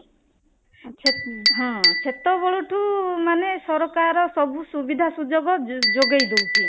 ହଁ ସେତେବେଳ ଠୁଁ ମାନେ ସରକାର ସବୁ ସୁବିଧା ସୁଯୋଗ ଯୋଗେଇ ଦଉଛି